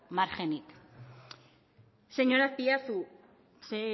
margenik señor azpiazu